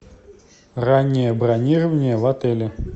раннее бронирование в отеле